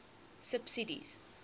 subsidies